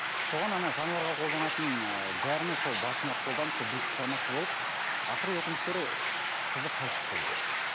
соған ана жануарға қолданатын ы дәріні сол басына қолданып сол битті шығармақшы болып ақыры өкінішке орай қызы қайтыс болды